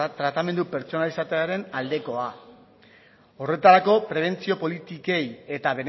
tratamendu pertsonalizatuaren aldekoa horretarako prebentzio politikei eta